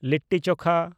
litti ᱪᱳᱠᱷᱟ